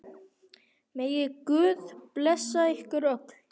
Megi Guð blessa ykkur öll.